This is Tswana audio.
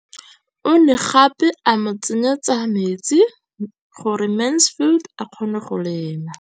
O ne gape a mo tsenyetsa metsi gore Mansfield a kgone go lema.